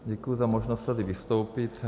Děkuji za možnost tady vystoupit.